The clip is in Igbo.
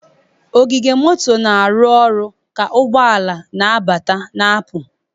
Ogige moto na-arụ ọrụ ka ụgbọ ala na-abata na-apụ.